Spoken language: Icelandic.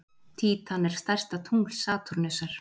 Títan er stærsta tungl Satúrnusar.